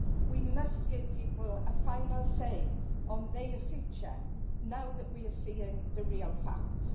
We must give people a final say on their future now that we are seeing the real facts.